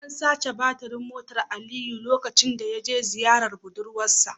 An sace batirin motar Aliyu lokacin da ya je ziyarar budurwar sa